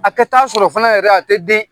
A ka taa sɔrɔ fana yɛrɛ a tɛ den.